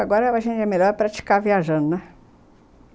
Agora, a gente é melhor a praticar viajando, né?